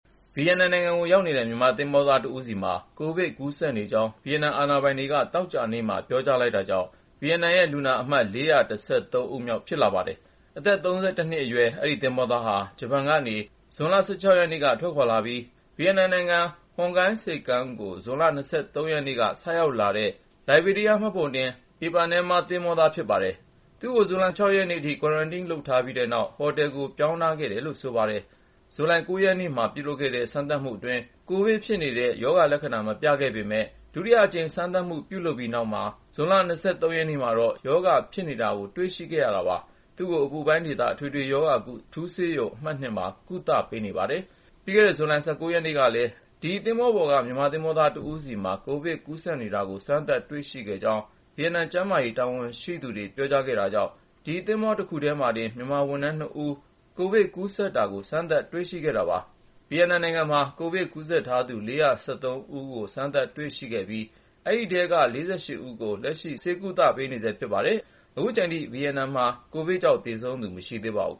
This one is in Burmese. ဗီယက်နမ်နိုင်ငံကို ရောက်နေတဲ့ မြန်မာသင်္ဘောသားတဦးမှာ ကိုဗစ် ကူးစက်နေကြောင်း ဗီယက်နမ် အာဏာပိုင်တွေက သောကြာနေ့မှာ ပြောကြားလိုက်တာကြောင့် ဗီယက်နမ်ရဲ့ လူနာအမှတ် ၄၁၃ ဦးမြောက် ဖြစ်လာခဲ့ပါတယ်။ အသက် ၃၁ နှစ်အရွယ် အဲဒီသင်္ဘောသားဟာ ဂျပန်နိုင်ငံကနေ ဇွန်လ ၁၆ ရက်နေ့က ထွက်ခွာလာပြီး ဗီယက်နမ်နိုင်ငံ Hon Gai ဆိပ်ကမ်းကို ဇွန်လ ၂၃ ရက်နေ့မှာ ဆိုက်ရောက်လာတဲ့ လိုင်ဘေးရီးယား မှတ်ပုံတင် IPANEMA သင်္ဘောက ဝန်ထမ်းဖြစ်တယ်လို့ ဆိုပါတယ်။ သူ့ကို ဇူလိုင်လ ၆ ရက်နေ့အထိ Quarantine လုပ်ထားပြီးတဲ့နောက်မှာ ဟိုတယ်ကို ပြောင်းထားခဲ့တယ်လို့ ဆိုပါတယ်။ ဇူလိုင်လ ၉ ရက်နေ့မှာ ပြုလုပ်တဲ့ စမ်းသပ်မှုအတွင်း ကိုဗစ် ဖြစ်နေတယ်ဆိုတဲ့ ရောဂါလက္ခဏာ မပြခဲ့ဘူးလို့ ဆိုပါတယ်။ ဒါပေမယ့် ဒုတိယအကြိမ် စမ်းသပ်မှုပြုလုပ်ပြီးတဲ့နောက် ဇူလိုင်လ ၂၃ ရက်နေ့မှာ ရောဂါဖြစ်နေတယ်ဆိုတဲ့ အဖြေထွက်လာခဲ့တာပါ။ သူ့ကို အပူပိုင်းဒေသ အထွေထွေရောဂါကု အထူးဆေးရုံ အမှတ် (၂) မှာ ကုသမှုပေးနေတယ်လို့ ဆိုပါတယ်။ ပြီးခဲ့တဲ့ ဇူလိုင်လ ၁၉ ရက်နေ့ကလည်း ဒီသင်္ဘောပေါ်ကဘဲ မြန်မာသင်္ဘောသားတဦးမှာ ကိုဗစ် ကူးစက်နေတာကို စမ်းသပ် တွေ့ရှိခဲ့ကြောင်း ဗီယက်နမ် ကျန်းမာရေးတာဝန်ရှိသူတွေက ပြောကြားခဲ့တာကြောင့် ဒီသင်္ဘော တခုထဲက မြန်မာဝန်ထမ်း ၂ ဦးမှာ ကိုဗစ် ကူးစက်နေတာကို စမ်းသပ် တွေ့ရှိခဲ့တာပါ။ ဗီယက်နမ်နိုင်ငံမှာ ကိုဗစ်ကူးစက်သူ ၄၁၃ ဦးကို စမ်းသပ် တွေ့ရှိခဲ့ပြီး အဲဒီထဲက ၄၈ ဦးကို လက်ရှိ ကုသပေးနေဆဲလို့ ဆိုပါတယ်။ အခုချိန်ထိ ဗီယက်နမ်မှာ ကိုဗစ်ကြောင့် သေဆုံးသူ တဦးမှ မရှိသေးပါဘူး။